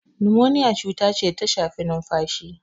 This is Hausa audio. Nimoniya cuta ce da ta shafi numfashi.